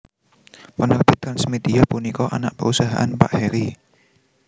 Penerbit TransMedia punika anak perusahaan Pak Harry